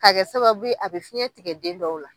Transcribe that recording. Ka kɛ sababu ye a bɛ fiɲɛ tigɛ den dɔw la.